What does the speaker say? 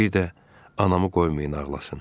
Bir də anamı qoymayın ağlasın.